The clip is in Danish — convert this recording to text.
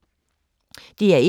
DR1